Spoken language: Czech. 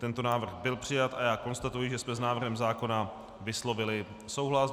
Tento návrh byl přijat a já konstatuji, že jsme s návrhem zákona vyslovili souhlas.